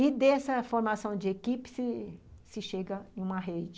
E, dessa formação de equipe, se se chega em uma rede.